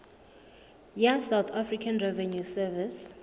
ya south african revenue service